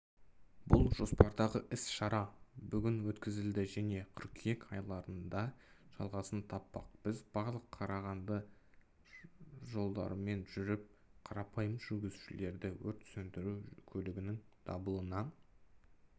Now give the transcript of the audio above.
бұл жоспардағы іс-шара бүгін өткізілді және қыркүйек айларында жалғасын таппақ біз барлық қарағанды жолдарымен жүріп қарапайым жүргізушілердің өрт сөндіру көлігінің дабылына